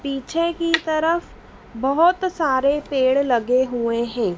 पीछे की तरफ बहुत सारे पेड़ लगे हुए हैं।